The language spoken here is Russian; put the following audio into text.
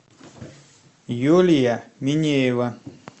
юлия минеева